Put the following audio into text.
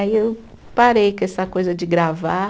Aí eu parei com essa coisa de gravar.